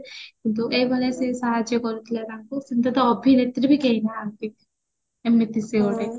କିନ୍ତୁ ଏଇ ଭଳିଆ ସେ ସାହାଯ୍ୟ କରୁଥିଲା ତାଙ୍କୁ ଅଭିନେତ୍ରୀ ବି କେହି ନାହାନ୍ତି ଏମିତି ସେ ଗୋଟେ